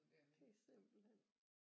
Det er simpelthen